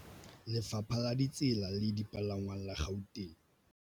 Lefapha la Ditsela le Dipalangwang la Gauteng